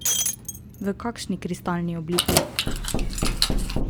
V kakšni kristalni obliki?